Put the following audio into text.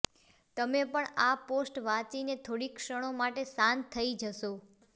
તમે પણ આ પોસ્ટ વાચીને થોડી ક્ષણો માટે શાંત થઈ જશો